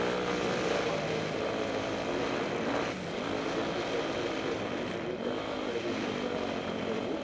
तर त्याचा मुळे ते थोडा फार hangingproblem देतात. पण generallymemoryphonememorymobile memoryinternal memory या सगल्या गोष्टी जे आहे ना. पूर्ण full होऊ देण्याची नाही. आता माझा जो use आहे.